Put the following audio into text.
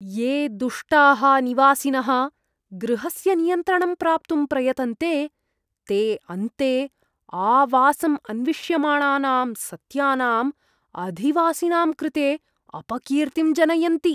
ये दुष्टाः निवासिनः गृहस्य नियन्त्रणं प्राप्तुं प्रयतन्ते, ते अन्ते आवासम् अन्विष्यमाणानां सत्यानाम् अधिवासिनां कृते अपकीर्तिम् जनयन्ति।